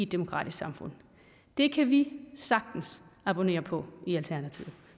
demokratisk samfund det kan vi sagtens abonnere på i alternativet